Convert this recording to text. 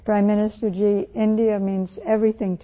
Prime minister ji, India means everything to me